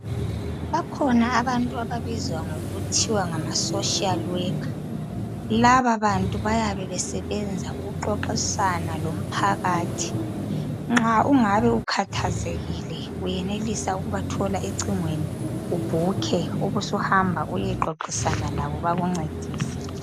Bakhona abantu ababizwa ngokuthiwa ngokuthiwa ngamaSocial worker. Lababantu, bayabe besebenza ukuxoxisana lomphakathi. Nxa ungabe ukhathazekile, uyenelisa ukubathola ecingweni. Ubhukhe. Ubusuhamba uyexoxisana labo, bakuncedise.